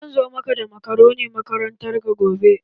Zan zo maka da makaroni makarantarka gobe.